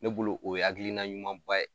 Ne bolo o ye hakilina ɲumanba ye.